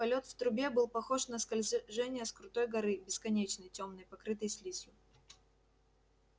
полет в трубе был похож на скольжение с крутой горы бесконечной тёмной покрытой слизью